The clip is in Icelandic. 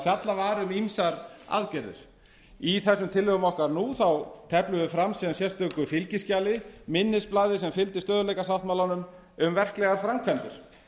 fjallað var um ýmsar aðgerðir í þessum tillögum okkar nú þá teflum við fram sérstöku fylgiskjali minnisblaði sem fylgdi stöðugleikasáttmálanum um verklegar framkvæmdir